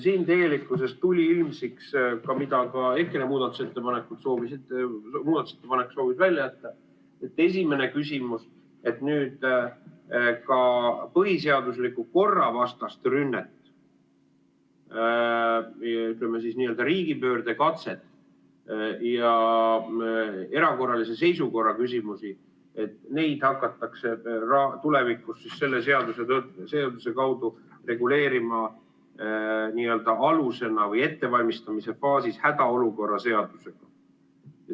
Siin tuli ilmsiks see, mida ka EKRE muudatusettepanek soovis välja jätta, nimelt esimene küsimus, et nüüd ka põhiseadusliku korra vastast rünnet, ütleme siis, riigipöördekatset ja erakorralise seisukorra küsimusi hakatakse tulevikus selle seaduse kaudu reguleerima n-ö alusena või ettevalmistamise faasis hädaolukorra seadusega.